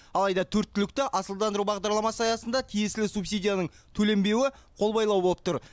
алайда төрт түлікті асылдандыру бағдарламасы аясында тиесілі субсидияның төленбеуі қолбайлау болып тұр